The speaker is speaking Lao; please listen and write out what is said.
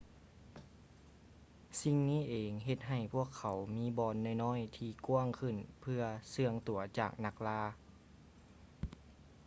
ສິ່ງນີ້ເອງເຮັດໃຫ້ພວກເຂົາມີບ່ອນນ້ອຍໆທີ່ກວ້າງຂຶ້ນເພື່ອເຊື່ອງຕົວຈາກນັກລ່າ